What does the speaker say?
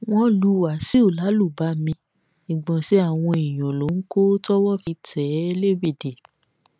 wọn lu wáṣíù lálùbami ìgbọnsẹ àwọn èèyàn ló ń kọ tọwọ fi tẹ é lébédè